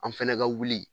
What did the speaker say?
An fɛnɛ ka wuli